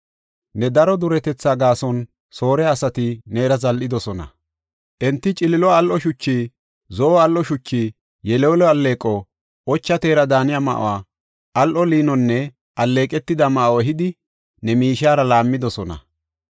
“Ne daro duretetha gaason, Soore asati neera zal7idosona; enti ciliilo al7o shuchi, zo7o al7o shuchi, yeleello alleeqo, ocha teera daaniya ma7uwa, al7o liinonne alleeqetida ma7o ehidi ne miishiyara laammidosona.